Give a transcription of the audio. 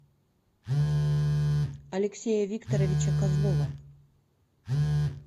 алексея викторовича козлова